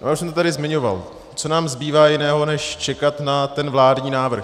Já už jsem to tady zmiňoval: co nám zbývá jiného, než čekat na ten vládní návrh.